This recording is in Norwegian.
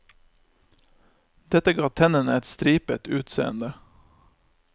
Dette ga tennene et stripet utseende.